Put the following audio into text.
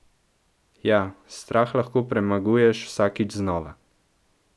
Ja, strah lahko premaguješ vsakič znova.